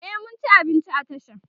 e mun ci abinci a tashan